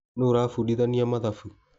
Nũ ũrabudithania mathabu